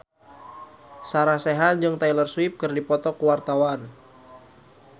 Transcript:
Sarah Sechan jeung Taylor Swift keur dipoto ku wartawan